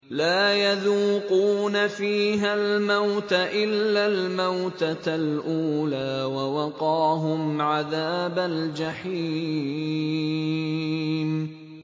لَا يَذُوقُونَ فِيهَا الْمَوْتَ إِلَّا الْمَوْتَةَ الْأُولَىٰ ۖ وَوَقَاهُمْ عَذَابَ الْجَحِيمِ